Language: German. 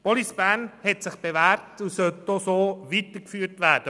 Police Bern hat sich bewährt und soll weitergeführt werden.